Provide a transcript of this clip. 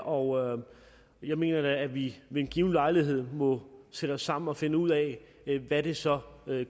og jeg mener da at vi ved en given lejlighed må sætte os sammen og finde ud af hvad det så